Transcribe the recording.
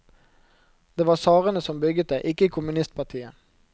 Det var tsarene som bygget det, ikke kommunistpartiet.